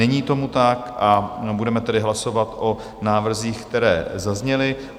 Není tomu tak, a budeme tedy hlasovat o návrzích, které zazněly.